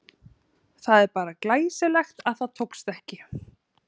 Það er bara glæsilegt að það tókst ekki!